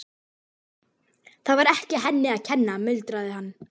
Þetta var ekki henni að kenna, muldraði hann.